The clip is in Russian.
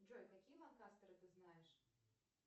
джой какие ланкастеры ты знаешь